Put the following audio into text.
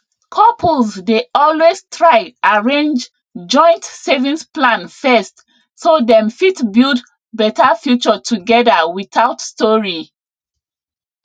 couples dey always try arrange joint savings plan first so dem fit build better future together without story